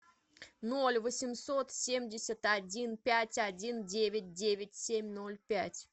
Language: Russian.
ноль восемьсот семьдесят один пять один девять девять семь ноль пять